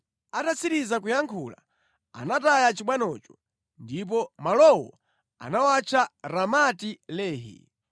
Atatsiriza kuyankhula, anataya chibwanocho, ndipo malowo anawatcha Ramati-Lehi.